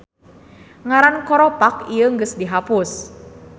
Ngaran koropak ieu geus di hapus.